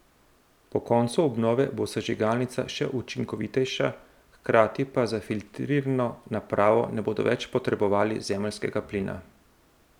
Po koncu obnove bo sežigalnica še učinkovitejša, hkrati pa za filtrirno napravo ne bodo več potrebovali zemeljskega plina.